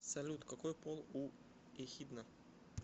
салют какой пол у эхидна